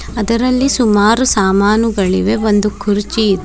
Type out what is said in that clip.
ಅದರಲ್ಲಿ ಸುಮಾರು ಸಾಮಾನುಗಳಿವೆ ಒಂದು ಕುರ್ಚಿ ಇದೆ.